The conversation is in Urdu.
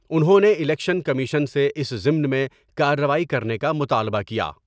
انہوں نے الیکشن کمیشن سے اس ضمن میں کاروائی کرنے کا مطالبہ کیا ۔